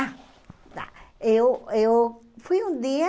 Ah, tá eu eu fui um dia